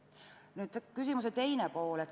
Nüüd küsimuse teine pool.